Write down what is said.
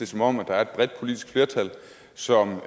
som om der er et bredt politisk flertal som